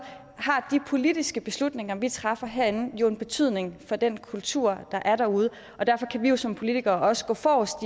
har de politiske beslutninger vi træffer herinde jo en betydning for den kultur der er derude og derfor kan vi jo som politikere også gå forrest